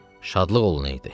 Şadlıq olunaydı.